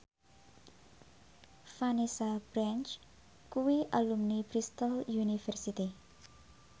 Vanessa Branch kuwi alumni Bristol university